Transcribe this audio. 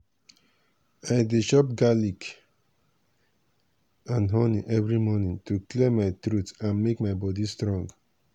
i dey chop garlic and honey every morning to clear my throat and make my body strong.